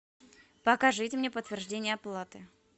покажите мне подтверждение оплаты